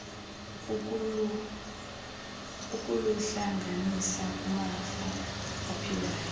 ukuluhlanganisa kumafa aphilayo